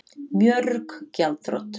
Mörg gjaldþrot